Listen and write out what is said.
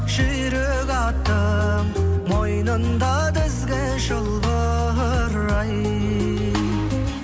жүйрек аттың мойнында тізгі шылбыр ай